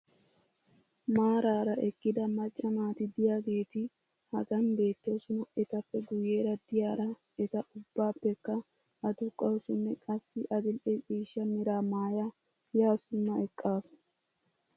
Maaraara eqqida macca naati diyaageeti hagan beetoosona. etappe guyeera diyaara eta ubaappekka aduqawusunne qassi adil'e ciishshaa meraa maaya yaa simma eqqaasu.